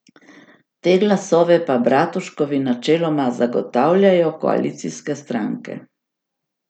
Te glasove pa Bratuškovi načeloma zagotavljajo koalicijske stranke.